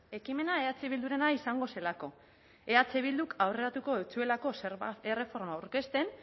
ekimena eh bildurena izango zelako eh bilduk aurreratuko ez zuelako zerga erreforma aurkezten